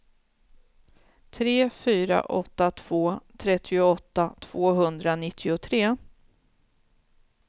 tre fyra åtta två trettioåtta tvåhundranittiotre